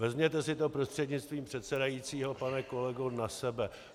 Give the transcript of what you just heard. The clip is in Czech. Vezměte si to prostřednictvím předsedajícího, pane kolego, na sebe.